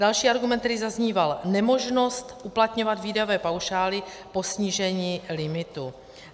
Další argument, který zazníval: nemožnost uplatňovat výdajové paušály po snížení limitu.